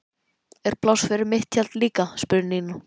Er pláss fyrir mitt tjald líka? spurði Nína.